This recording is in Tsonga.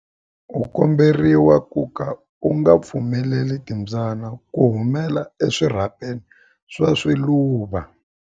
U komberiwa ku ka u nga pfumeleli timbyana ku humela eswirhapeni swa swiluva.